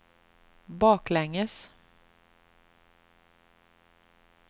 baklänges